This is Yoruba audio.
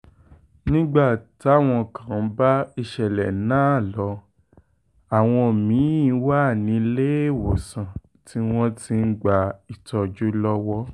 nígbà táwọn kan bá ìṣẹ̀lẹ̀ náà lọ àwọn mi-ín wà níléelọ́sàn tí wọ́n ti ń gba ìtọ́jú lọ́wọ́